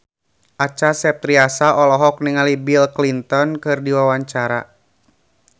Acha Septriasa olohok ningali Bill Clinton keur diwawancara